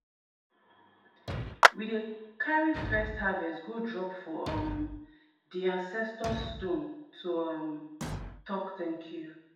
we dey carry first harvest go drop for um di ancestor stone to um talk thank you.